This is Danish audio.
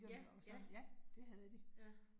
Ja, ja. Ja